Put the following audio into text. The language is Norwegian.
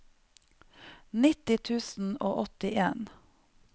nitti tusen og åttien